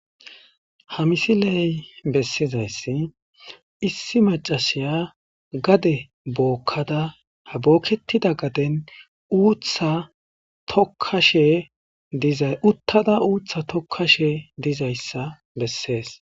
ha misiley bessizayssi issi macasiya gade bookkada ha bookketida gaden uutha tokkashe dizay uttada uutha tokkashe dizayssa bessees